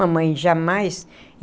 Mamãe, jamais.